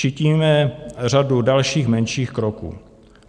Činíme řadu dalších, menších kroků.